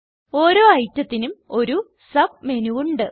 ഓരോ ഐറ്റത്തിനും ഒരു സബ് മെനു ഉണ്ട്